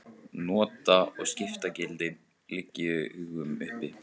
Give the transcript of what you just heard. Nota- og skiptagildi liggja í augum uppi.